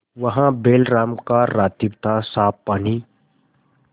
वहाँ बैलराम का रातिब थासाफ पानी